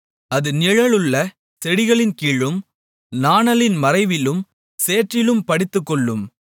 அது நிழலுள்ள செடிகளின் கீழும் நாணலின் மறைவிலும் சேற்றிலும் படுத்துக்கொள்ளும்